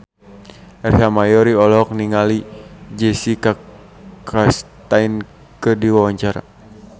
Ersa Mayori olohok ningali Jessica Chastain keur diwawancara